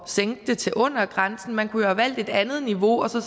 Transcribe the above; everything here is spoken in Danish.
sænke det til under grænsen man kunne jo have valgt et andet niveau og så